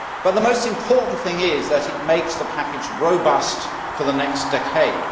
The most important thing is that it makes the package robust for the next decade.